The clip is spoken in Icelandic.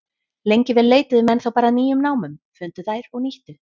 Lengi vel leituðu menn þá bara að nýjum námum, fundu þær og nýttu.